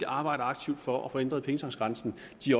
arbejder aktivt for at få ændret pengetanksgrænsen